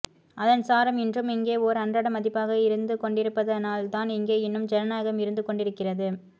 அதன் சாரம் இன்றும் இங்கே ஓர் அன்றாட மதிப்பாக இருந்துகொண்டிருப்பதனால்தான் இங்கே இன்னும் ஜனநாயகம் இருந்துகொண்டிருக்கிறது